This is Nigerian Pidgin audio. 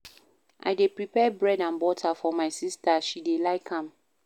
I dey prepare bread and butter for my sista, she dey like am.